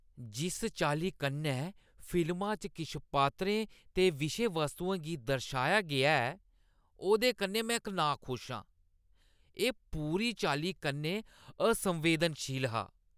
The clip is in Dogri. जिस चाल्ली कन्नै फिल्मा च किश पात्तरें ते विशे-वस्तुएं गी दर्शाया गेआ ऐ, ओह्दे कन्नै में नाखुश आं। एह् पूरी चाल्ली कन्नै असंवेदनशील हा।